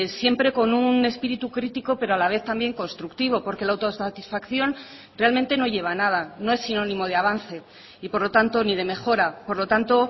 siempre con un espíritu crítico pero a la vez también constructivo porque la autosatisfacción realmente no lleva a nada no es sinónimo de avance y por lo tanto ni de mejora por lo tanto